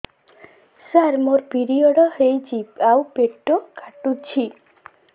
ସାର ମୋର ପିରିଅଡ଼ ହେଇଚି ଆଉ ପେଟ କାଟୁଛି